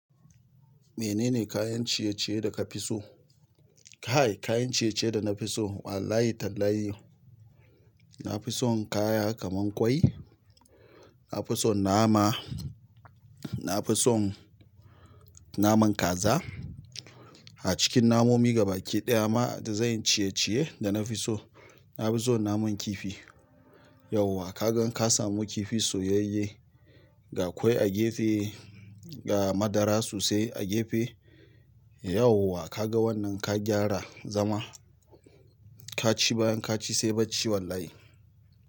Menene kayan ciye-ciye da ka fi so? Kai kayan ciye ciye da nafi so Wallahi tallahi, na fi son kaya kaman kwai, na fi son nama, na fi son naman kaza. A cikin namomi gaba ki ɗaya ma da zanyi ciye-ciye da na fi so, na fi so naman kifi. Yauwa ka ga in ka samu kifi soyayye, ga kwai a gefe, ga madara sosai a gefe. Yauwa ka ga wannan ka gyara zama, ka ci bayan ka ci sai bacci wallahi.